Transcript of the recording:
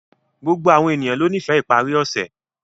Gbogbo ènìyàn lọ nífẹ̀ iparí ọṣẹ̀